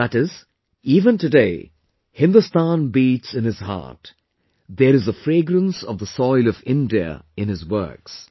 That is, even today Hindustan beats in his heart; there is a fragrance of the soil of India in his works